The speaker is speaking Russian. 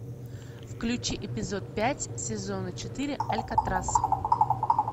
включи эпизод пять сезона четыре алькатрас